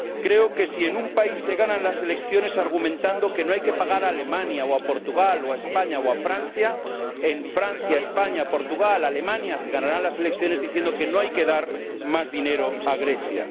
Creo que, si en un país se ganan las elecciones argumentando que no hay que pagar a Alemania o a Portugal o a España o a Francia, en Francia, España, Portugal, Alemania se ganarán las elecciones diciendo que no hay que dar más dinero a Grecia.